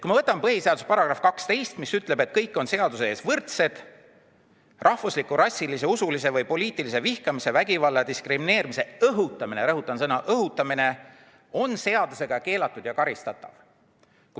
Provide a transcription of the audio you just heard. Põhiseaduse § 12 ütleb, et kõik on seaduse ees võrdsed ning rahvusliku, rassilise, usulise või poliitilise vihkamise, vägivalla ja diskrimineerimise õhutamine – rõhutan sõna "õhutamine" – on seadusega keelatud ja karistatav.